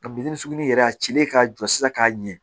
Ka bitɔn sugu in yɛrɛ a cilen k'a jɔ sisan k'a ɲɛ